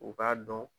U k'a dɔn